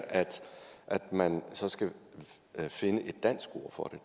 at man så skal finde et dansk ord for